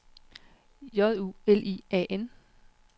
J U L I A N